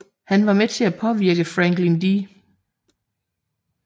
Han var med til at påvirke Franklin D